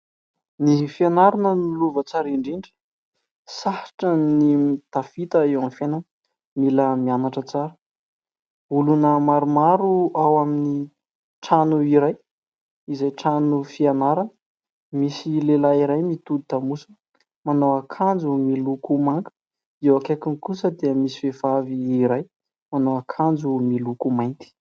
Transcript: Ny fianarana no lova tsara indrindra. Sarotra ny tafita eo amin'ny fiainana. Mila mianatra tsara. Olona maromaro ao amin'ny trano iray izay trano fianarana. Misy lehilahy iray mitodika lamosina manao akanjo miloko manga. Eo akaikiny kosa dia misy vehivavy iray manao ankanjo miloko mainty.